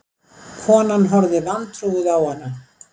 Konan horfði vantrúuð á hana.